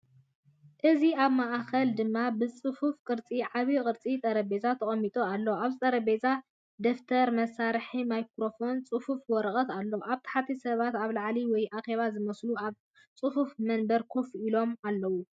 እዚ ኣብ ማእከሉ ድማ ብጽፉፍ ቅርጺ ዓቢ ዕንጨይቲ ጠረጴዛ ተቐሚጡ ኣሎ። ኣብቲ ጠረጴዛ ደፍተርን መሳርሒ ማይክሮፎንን ጽፉፍ ወረቐትን ኣሎ። ኣብ ታሕቲ ሰባት ኣብ ዕላል ወይ ኣኼባ ዝመስሉ ኣብ ጽፉፍ መንበር ኮፍ ኢሎም ኣለዉ።